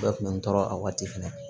Bɛɛ kun bɛ n tɔɔrɔ a waati fɛnɛ